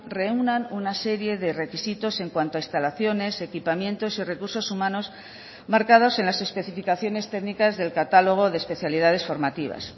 reúnan una serie de requisitos en cuanto a instalaciones equipamientos y recursos humanos marcados en las especificaciones técnicas del catálogo de especialidades formativas